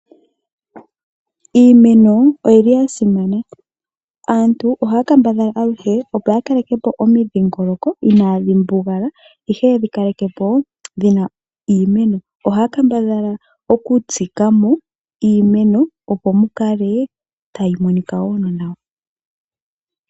Iimeno oyili ya simana. Aantu ohaya kambadhala aluhe opo ya kaleke po omidhingoloko inaadhi mbugala, ihe yedhi kalekepo dhina iimeno, ohaya kambadhala okutsika mo iimeno opo mukale tayi monika woo no nawa.